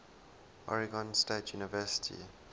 oregon state university